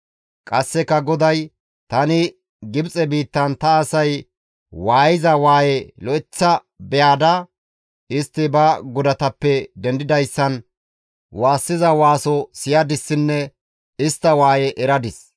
Qasseka GODAY, «Tani Gibxe biittan ta asay waayiza waaye lo7eththa beyada, istti ba godatappe dendidayssan waassiza waaso siyadissinne istta waaye eradis.